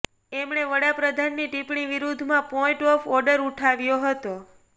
એમણે વડાપ્રધાનની ટિપ્પણી વિરુદ્ધમાં પોઈન્ટ ઓફ ઓર્ડર ઉઠાવ્યો હતો